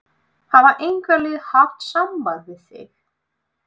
Hafa einhver lið haft samband við þig?